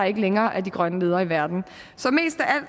ikke længere er de grønne ledere i verden